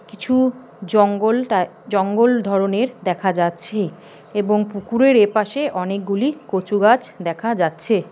কিছু জঙ্গলটায়- জঙ্গল ধরণের দেখা যাচ্ছে এবং পুকুরের এপাশে অনেকগুলি কচু গাছ দেখা যাচ্ছে।